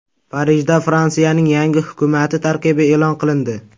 Parijda Fransiyaning yangi hukumati tarkibi e’lon qilindi.